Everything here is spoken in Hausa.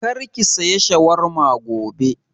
Kar ki saya shawarma gobe!